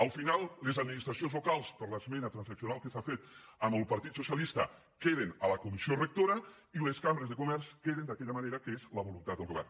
al final les administracions locals per l’esmena transaccional que s’ha fet amb el partit socialista queden a la comissió rectora i les cambres de comerç queden d’aquella manera que és la voluntat del govern